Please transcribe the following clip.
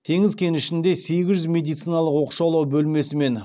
теңіз кенішінде сегіз жүз медициналық оқшаулау бөлмесі мен